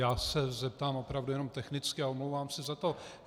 Já se zeptám opravdu jenom technicky a omlouvám se za to.